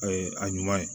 A ye a ɲuman ye